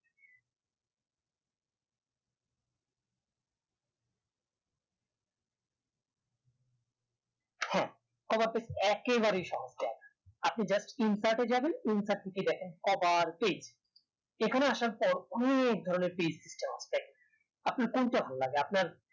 হ্যাঁ cover page টা একেবারে সহজ কাজ আপনি just insert এ যাবেন insert থেকে দেখেন এখানে আসার পর অনেক ধরণের হবে আপনার কোনটা ভালো লাগে